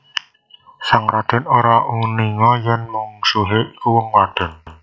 Sang Radèn ora uninga yèn mungsuhé iku wong wadon